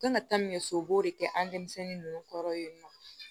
Kan ka taa min kɛ so u b'o de kɛ an denmisɛnnin ninnu kɔrɔ yen nɔ